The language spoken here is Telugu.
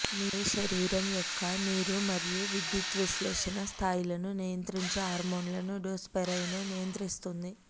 మీ శరీరం యొక్క నీరు మరియు విద్యుద్విశ్లేషణ స్థాయిలను నియంత్రించే హార్మోన్లను డ్రోస్పైర్నోనే నియంత్రిస్తుంది